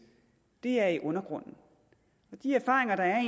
det er i undergrunden og de erfaringer der